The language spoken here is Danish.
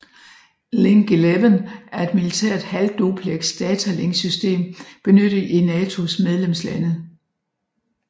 Link 11 er et militært halv dupleks datalinksystem benyttet i NATOs medlemslande